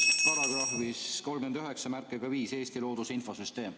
See on § 395 "Eesti looduse infosüsteem".